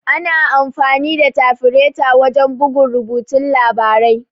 Ana amfani da tafireta wajan bugun rubutun labarai.